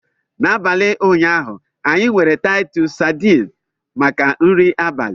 N'abalị ụnyaahụ, anyị nwere Titus sardines maka nri abalị.